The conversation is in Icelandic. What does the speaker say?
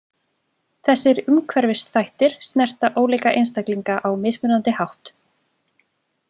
Þessir umhverfisþættir snerta ólíka einstaklinga á mismunandi hátt.